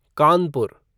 Kanpur